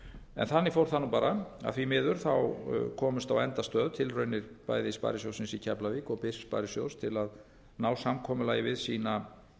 en þannig fór það nú bara að því miður komust á endastöð tilraunir bæði sparisjóðsins í keflavík og byrs sparisjóðs til að ná samkomulagi við sína